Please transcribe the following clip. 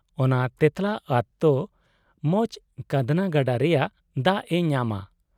ᱚᱱᱟ ᱛᱮᱸᱛᱞᱟ ᱟᱛ ᱫᱚ ᱢᱟᱪᱷ ᱠᱟᱸᱫᱽᱱᱟ ᱜᱟᱰᱟ ᱨᱮᱭᱟᱜ ᱫᱟᱜ ᱮ ᱧᱟᱢᱟ ᱾